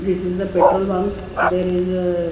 This is the petrol bank there is a--